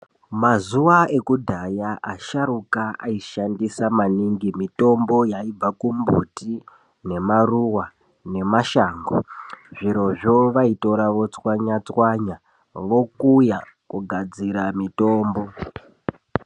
Mazuva ekudhaya asharuka aishandisa maningi mitombo yaibva kumbuti nemaruva nemashango. Zvirozvo vaitora votswanya-tswanya vokuya kugadzira mitombo.